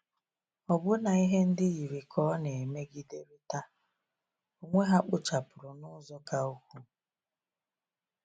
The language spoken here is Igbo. Ọbụna ihe ndị yiri ka ọ na-emegiderịta onwe ha kpochapụrụ n’ụzọ ka ukwuu.